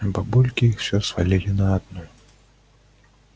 а бабульки их всё свалили на одну